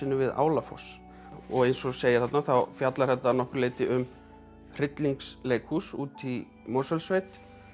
við Álafoss eins og segir þarna þá fjallar þetta að nokkru leyti um úti í Mosfellssveit